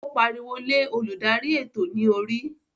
O pariwo lé oludari eto ni orí.